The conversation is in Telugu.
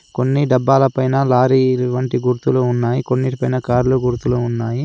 కొన్ని డబ్బాలపైన లారీలు వంటి గుర్తులు ఉన్నాయి. కొన్నిటి పైన కార్ల గుర్తులు ఉన్నాయి.